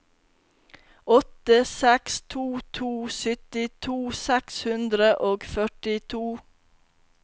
åtte seks to to syttito seks hundre og førtito